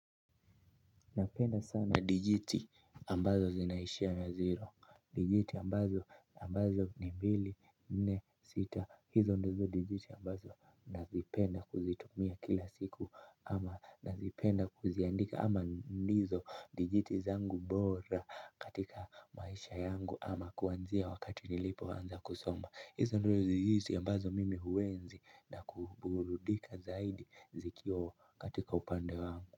Napenda sana dijiti ambazo zinaishia na ziro. Dijiti ambazo ambazo ni mbili, nne, sita hizo ndizo dijiti ambazo nazipenda kuzitumia kila siku ama nazipenda kuziandika ama ndizo dijiti zangu bora katika maisha yangu. Ama kuanzia wakati nilipo anza kusomba. Hizo ndizo dijiti ambazo mimi huenzi na kuburudika zaidi zikio katika upande wangu.